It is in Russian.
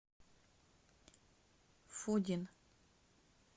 фудин